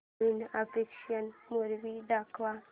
नवीन action movie दाखव